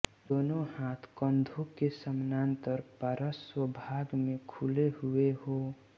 दोनों हाथ कन्ढों के समानान्तर पार्श्र्व भाग में खुले हुए हो